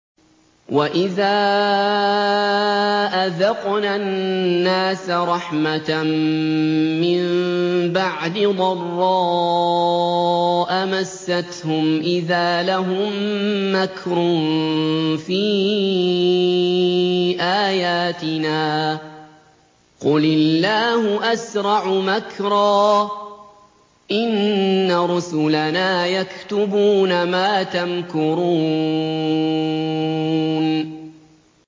وَإِذَا أَذَقْنَا النَّاسَ رَحْمَةً مِّن بَعْدِ ضَرَّاءَ مَسَّتْهُمْ إِذَا لَهُم مَّكْرٌ فِي آيَاتِنَا ۚ قُلِ اللَّهُ أَسْرَعُ مَكْرًا ۚ إِنَّ رُسُلَنَا يَكْتُبُونَ مَا تَمْكُرُونَ